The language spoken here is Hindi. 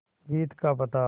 जीत का पता